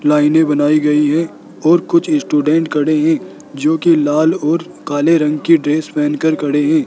लाइनें बनाई गयी है और कुछ स्टूडेंट खड़े है जो की लाल और काले रंग की ड्रेस पहनकर खड़े है।